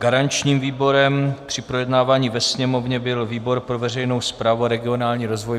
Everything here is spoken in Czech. Garančním výborem při projednávání ve Sněmovně byl výbor pro veřejnou správu a regionální rozvoj.